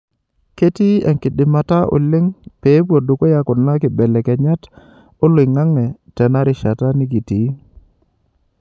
Ketii enkidimata oleng pee epuo dukuya kuna kibelekenyat oloingange tenarishat nikitii.